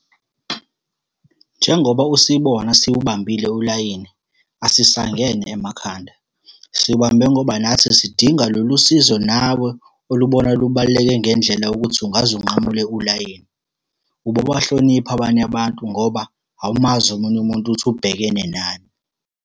Njengoba usibona siwubambile ulayini, asisangene emakhanda. Siwubambe ngoba nathi sidinga lolu sizo nawe olubona lubaluleke ngendlela yokuthi ungaze unqamule ulayini. Ubobahlonipha abanye abantu, ngoba awumazi omunye umuntu ukuthi ubhekene nani.